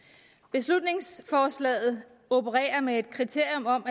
beslutningsforslaget opererer med et kriterium om